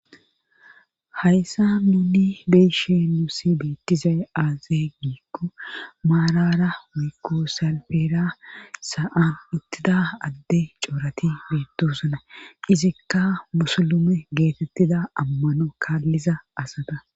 Hayssa nuni beeshe nuusi beettizay aazee giikko maarara miikko salpeera sa'an ittida adde coorati biittosana izikka musulume geetettida ammano kaalliza asada.